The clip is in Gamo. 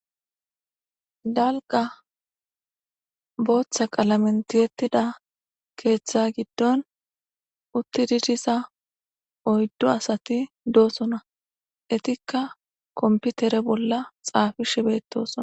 Dalga boththa qalamen tiyetida keththa giddon uttidi diza oydu asatti de'osona ettikka konpiter bolla xaffishe de'etes.